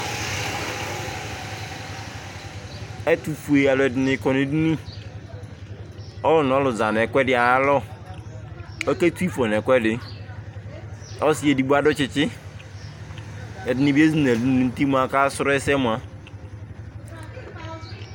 Ɛtʋfue alʋ ɛdɩnɩ kɔ nʋ edini, ɔlʋ nʋ ɔlʋ za nʋ ɛkʋɛdɩ ayʋ alɔ, ɔketu ɩfɔ nʋ ɛkʋɛdɩ, ɔsɩ edigbo adʋ tsɩtsɩ, ɛdɩnɩ bɩ ezi nʋ ɛlʋ dʋ nʋ uti mʋ akasrɔ ɛsɛ mʋa,